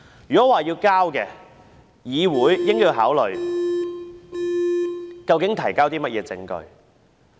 如要這樣做，議會應該考慮究竟是提供甚麼證據。